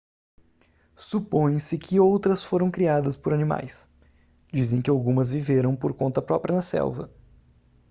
supõe-se que outras foram criadas por animais dizem que algumas viveram por conta própria na selva